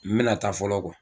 N bɛna taa fɔlɔ